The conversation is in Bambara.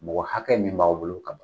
Mɔgɔ hakɛ min b'aw bolo ka